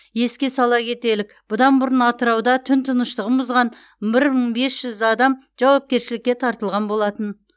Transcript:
еске сала кетелік бұдан бұрын атырауда түн тыныштығын бұзған бір мың бес жүз адам жауапкершілікке тартылған болатын